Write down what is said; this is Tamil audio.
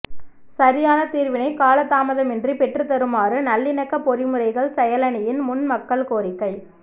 சரியான தீர்வினை காலதாமதமின்றி பெற்றுத்தருமாறு நல்லிணக்க பொறிமுறைகள் செயலனியின் முன் மக்கள் கோரிக்கை